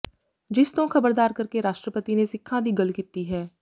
ਜਿਸ ਤੋਂ ਖ਼ਬਰਦਾਰ ਕਰਕੇ ਰਾਸ਼ਟਰਪਤੀ ਨੇ ਸਿੱਖਾਂ ਦੀ ਗੱਲ ਕੀਤੀ ਹੈ